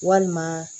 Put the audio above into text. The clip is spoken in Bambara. Walima